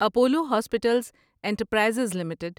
Apollo hospitals enterprise limited